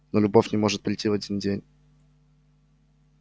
но любовь не может прийти в один день